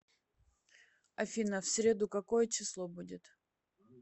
афина в среду какое число будет